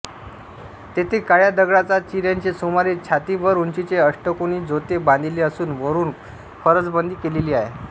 तेथे काळ्या दगडाचा चिऱ्याचे सुमारे छातीभर उंचीचे अष्टकोनी जोते बांधिले असून वरून फरसबंदी केलेली आहे